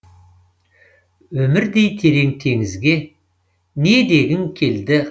өмірдей терең теңізге не дегің келді